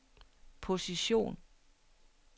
position